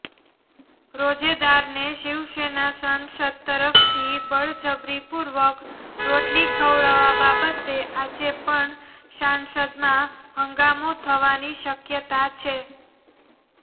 રોજેદારને શિવસેના સાંસદ તરફથી બળજબરીપૂર્વક રોટલી ખવડાવવા બાબતે આજે પણ સાંસદમાં હંગામો થવાની શક્યતા છે